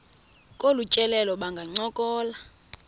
kolu tyelelo bangancokola